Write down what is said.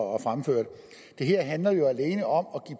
og fremført det her handler jo alene om